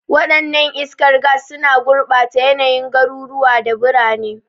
Wadannan iskar gas suna gurbata yanayin garuruwa da birane.